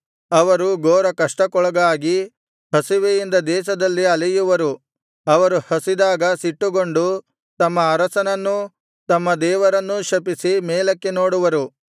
ಅವರು ಘೋರ ಕಷ್ಟಕ್ಕೊಳಗಾಗಿ ಹಸಿವೆಯಿಂದ ದೇಶದಲ್ಲಿ ಅಲೆಯುವರು ಅವರು ಹಸಿದಾಗ ಸಿಟ್ಟುಗೊಂಡು ತಮ್ಮ ಅರಸನನ್ನೂ ತಮ್ಮ ದೇವರನ್ನೂ ಶಪಿಸಿ ಮೇಲಕ್ಕೆ ನೋಡುವರು